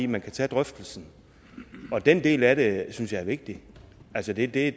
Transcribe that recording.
man kan tage drøftelsen og den del af det synes jeg er vigtig altså det det